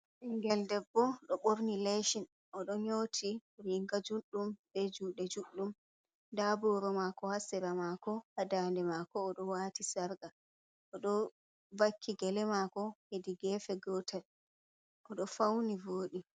Ɓingel debbo ɗo borni lesin o ɗo nyoti riga juɗɗum be juɗe juɗɗum, nda boro mako ha sira mako ha dande mako oɗo wati sarga oɗo vakki gele mako hedi gefe gotel odo fauni vodi.